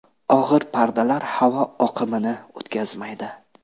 Og‘ir pardalar havo oqimini o‘tkazmaydi.